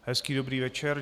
Hezký dobrý večer.